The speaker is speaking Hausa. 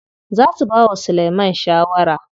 Za su bawa Sulaiman shawara.